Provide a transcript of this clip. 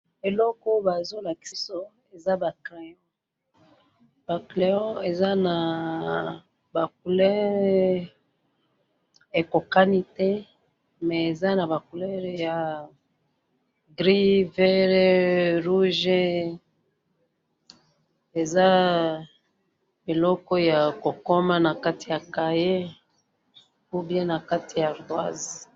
Eloko oyo bazo lakisa biso eza ba crayons ,ba crayons eza na ba couleurs ekokani té, mais eza na ba couleur ya gris, vert, rouge ,eza biloko ya kokoma na kati ya cahier ou bien na kati ya ardoise